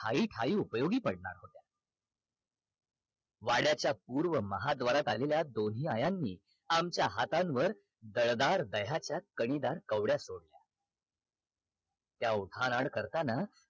ठाई ठाई उपयोगी पडणार होत्या वाड्याच्या पूर्व महाद्वारात आलेल्या दोन्ही आयांनी आमच्या हातांवर दळदार दह्याच्या कवड्या सोडल्या त्या उठणान करतांना